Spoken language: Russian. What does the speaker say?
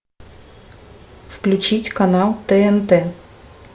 включить канал тнт